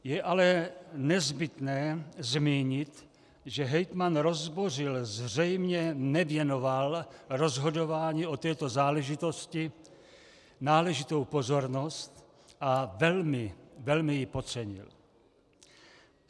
Je ale nezbytné zmínit, že hejtman Rozbořil zřejmě nevěnoval rozhodování o této záležitosti náležitou pozornost a velmi, velmi ji podcenil.